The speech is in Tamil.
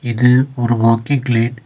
இது ஒரு வாக்கிங் பிளேஸ் .